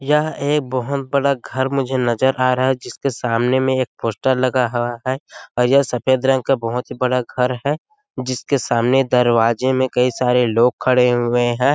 यहाँ एक बहुत बड़ा घर मुझे नज़र आ रहा है जिसके सामने में एक पोस्टर लगा हुआ है और यह सफ़ेद रंग का बहुत ही बड़ा घर है जिसके सामने दरवाजे में कई सारे लोग खड़े हुए है।